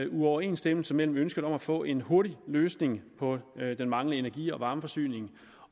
uoverensstemmelse mellem ønsket om at få en hurtig løsning på den manglende energi og varmeforsyning